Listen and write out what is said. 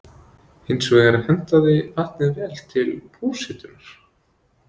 Hins vegar hentaði vatnið vel til húshitunar.